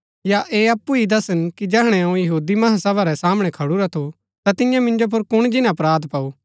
या ऐह अप्पु ही दसन कि जैहणै अऊँ महासभा रै सामणै खडुरा थु ता तिन्ये मिन्जो मन्ज कुण जिन्‍ना अपराध पाऊ